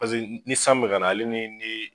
Paseke ni san mi ka na ale ni di